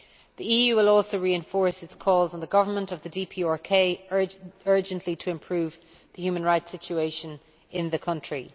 The EU will also reinforce its calls on the government of the DPRK urgently to improve the human rights situation in the country.